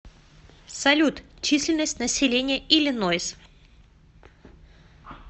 салют численность населения иллинойс